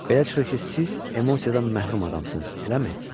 Belə çıxır ki, siz emosiyadan məhrum adamsınız, eləmi?